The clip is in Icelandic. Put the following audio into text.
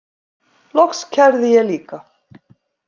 Loks kærði ég líka.